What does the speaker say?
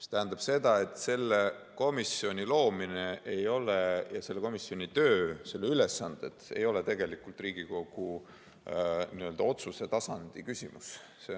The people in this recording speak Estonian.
See tähendab seda, et selle komisjoni loomine ja selle komisjoni töö, selle ülesanded ei ole tegelikult Riigikogu otsuse tasandi küsimus.